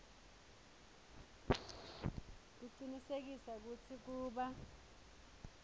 kucinisekisa kutsi kuba